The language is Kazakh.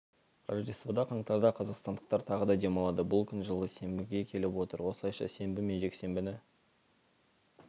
рождествода қаңтарда қазақстандықтар тағы да демалады бұл күн жылы сенбіге келіп отыр осылайша сенбі мен жексенбіні